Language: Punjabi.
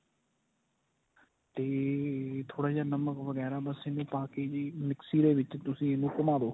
ਤੇ ਥੋੜਾ ਜਾ ਨਮਕ ਵਗੈਰਾ ਬੱਸ ਇਹਨੂੰ ਪਾ ਕੇ ਜੀ ਮਿਕਸੀ ਦੇ ਵਿੱਚ ਤੁਸੀਂ ਇਹਨੂੰ ਘੁਮਾ ਦੋ